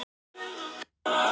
Það er líka val.